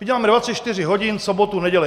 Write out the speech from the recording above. My děláme 24 hodin, soboty, neděle.